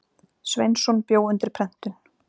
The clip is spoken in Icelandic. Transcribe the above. Sveinsson bjó undir prentun.